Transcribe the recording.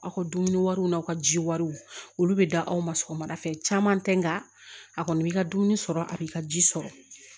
Aw ka dumuni wariw n'a ka ji wariw olu bɛ da aw ma sɔgɔmada fɛ caman tɛ nka a kɔni b'i ka dumuni sɔrɔ a b'i ka ji sɔrɔ